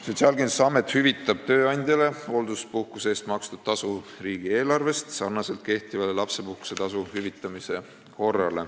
Sotsiaalkindlustusamet hüvitab tööandjale hoolduspuhkuse eest makstud tasu riigieelarvest samamoodi, nagu hüvitatakse kehtiva lapsepuhkuse tasu.